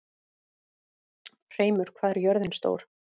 Hreimur, hvað er jörðin stór?